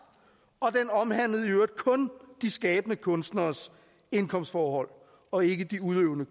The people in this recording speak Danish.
og den omhandlede i øvrigt kun de skabende kunstneres indkomstforhold og ikke de udøvende